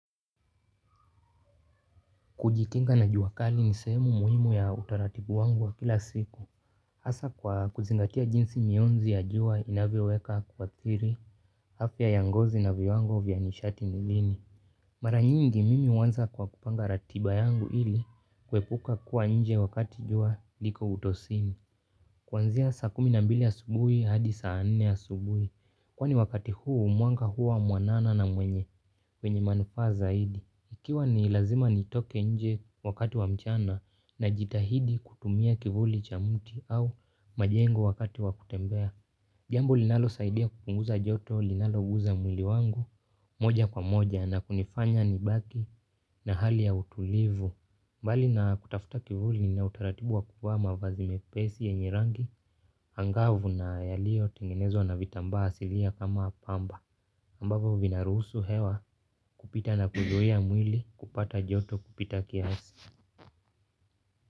Kujikinga na jua kali ni sehemu muhimu ya utaratibu wangu wa kila siku. Hasaa kwa kuzingatia jinsi mionzi ya jua inavyoweka kuadhiri, afya ya ngozi na viwango vya nishati nilini. Mara nyingi mimi huanza kwa kupanga ratiba yangu ili kuepuka kuwa nje wakati jua liko utosimi. Kuanzia saa kumi na mbili asubuhi hadi saa nne asubuhi. Kwani wakati huu mwanga huwa mwanana na wenye manufaa zaidi. Ikiwa ni lazima nitoke nje wakati wa mchana najitahidi kutumia kivuli cha mti au majengo wakati wa kutembea. Jambo linalosaidia kupunguza joto, linaloguza mwili wangu moja kwa moja na kunifanya nibaki na hali ya utulivu. Mbali na kutafuta kivuli na utaratibu wa kuvaa mavazi mepesi yenye rangi angavu na yaliyotengenezwa na vitambaa asilia kama pamba. Ambavyo vinaruhusu hewa kupita na kuzuia mwili kupata joto kupita kiasi.